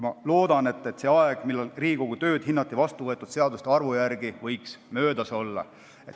Ma loodan, et see aeg, kui Riigikogu tööd hinnati vastuvõetud seaduste arvu järgi, võiks möödas olla.